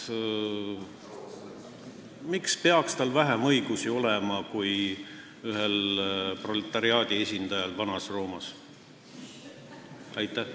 Miks peaks tal olema vähem õigusi kui ühel proletariaadi esindajal Vana-Roomas?